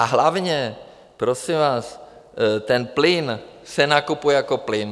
A hlavně, prosím vás, ten plyn se nakupuje jako plyn.